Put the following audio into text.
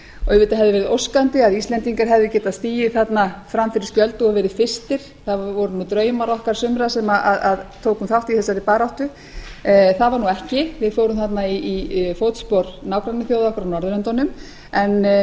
auðvitað hefði verið óskandi að íslendingar hefðu getað stigið þarna fram fyrir skjöldu og verið fyrstir það voru nú draumar okkar sumra sem tókum þátt í þessari baráttu það var nú ekki við fórum þarna í fótspor nágrannaþjóða okkar á norðurlöndunum en mig langar